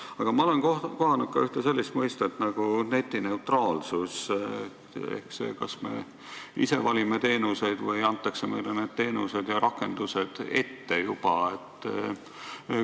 Aga ma olen kohanud ka ühte sellist mõistet nagu netineutraalsus ehk see, kas me ise valime teenuseid või antakse meile need teenused ja rakendused juba ette.